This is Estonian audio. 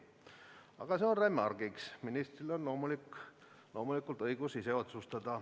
Aga see on remargiks, ministril on loomulikult õigus ise otsustada.